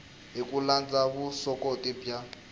hi ku landza vuswikoti bya